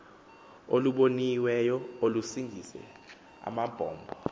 oluboniweyo olusingise amabombo